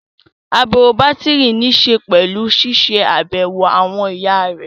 Àbẹ̀wò bátìrì níṣe pẹ̀lú ṣiṣẹ́ àbẹ̀wò àwọn ẹ̀yà rẹ̀